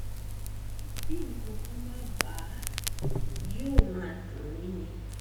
bí nǹkankan bá bà á yóò máa dùn mí ni